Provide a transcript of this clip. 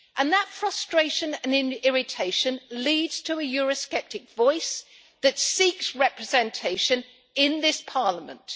That frustration and irritation leads to a eurosceptic voice that seeks representation in this Parliament.